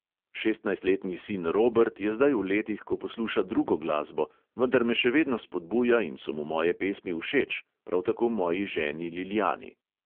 Šestnajstletni sin robert je zdaj v letih, ko posluša drugo glasbo, vendar me še vedno spodbuja in so mu moje pesmi všeč, prav tako moji ženi lilijani.